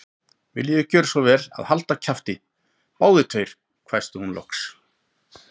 Viljiði gjöra svo vel að halda kjafti, báðir tveir hvæsti hún loks.